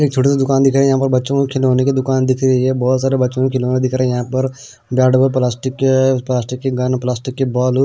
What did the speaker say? छोटा सा दुकान दिख रहा है यहां पर बच्चों को खिलौने की दुकान दिख रही है बहुत सारे बच्चों के खिलौने दिख रहे हैं यहां पर बैड प्लास्टिक के प्लास्टिक के गन प्लास्टिक के बॉल .